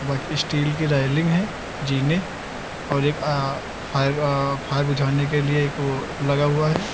But steel की railing है जीने और एक अह फायर अह फायर बुझाने के लिए एक वो लगा हुआ है।